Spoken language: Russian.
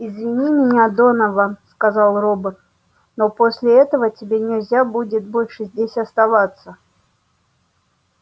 извини меня донован сказал робот но после этого тебе нельзя больше здесь оставаться